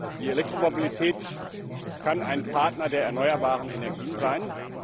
Die Elektromobilität kann ein Partner der erneuerbaren Energien sein.